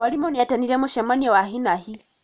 Mwarimũ nĩetanire mũcemanio wa hi na hi